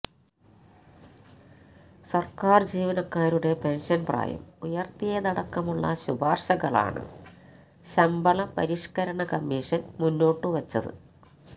സര്ക്കാര് ജീവനക്കാരുടെ പെന്ഷന് പ്രായം ഉയര്ത്തിയതടക്കമുള്ള ശുപാര്ശകളാണ് ശമ്പളപരിഷ്കരണ കമ്മിഷന് മുന്നോട്ടുവച്ചത്